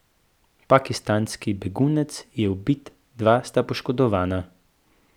Pakistanski begunec je ubit, dva sta poškodovana.